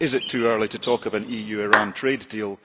Is it too early to talk of an EU Iran trade deal?